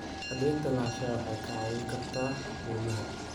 Cadaynta lahaanshaha waxay kaa caawin kartaa deymaha.